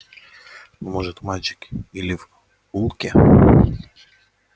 ну может мальчик или в улке